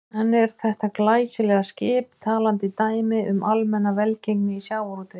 En er þetta glæsilega skip talandi dæmi um almenna velgengni í sjávarútvegi?